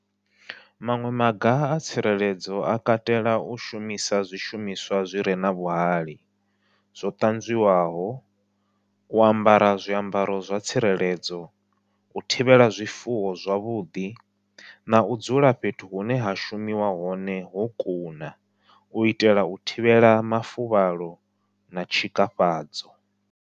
Maṅwe maga a tsireledzo a katela u shumisa zwishumiswa zwi re na vhuhali, zwo ṱanzwiwaho u ambara zwiambaro zwa tsireledzo, u thivhela zwifuwo zwavhuḓi, nau dzula fhethu hune ha shumiwa hone ho kuna u itela u thivhela mafuvhalo na tshikafhadzo.